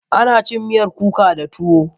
Ana cin miyar kuka da tuwo.